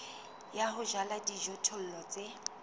ya ho jala dijothollo tse